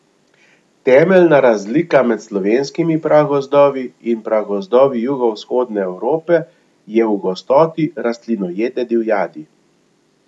Temeljna razlika med slovenskimi pragozdovi in pragozdovi jugovzhodne Evrope je v gostoti rastlinojede divjadi.